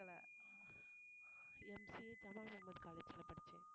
MCA college ல படிச்சேன்